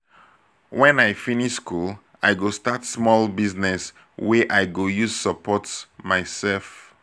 wen i finish school i go start small business wey i go use support mysef.